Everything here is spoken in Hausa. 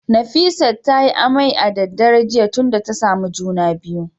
Nefisat ta yi amai a daddare jiya tunda tasamu juna biyu